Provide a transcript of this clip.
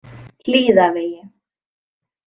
Hlíðavegi